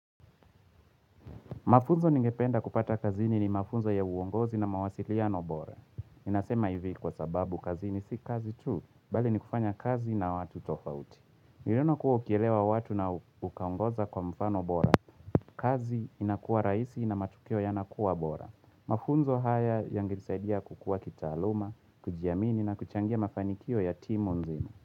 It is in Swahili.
Mafunzo ningependa kupata kazini ni mafunzo ya uongozi na mawasiliano bora. Nasema hivi kwa sababu kazini si kazi tu, bali ni kufanya kazi na watu tofauti. Niliona kuwa ukielewa watu na ukaongoza kwa mfano bora. Kazi inakuwa raisi na matukio yanakuwa bora. Mafunzo haya yangesaidia kukua kitaaluma, kujiamini na kuchangia mafanikio ya timu nzimu.